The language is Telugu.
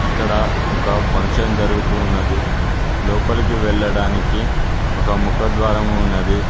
ఇక్కడ ఒక ఫంక్షన్ జరుగుతున్నది లోపలికి వెళ్లడానికి ఒక ముఖద్వారం ఉన్నది.